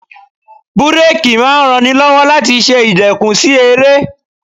Búrákì máa ń ran ni lọ́wọ́ láti ṣe ìdẹkùn sí eré.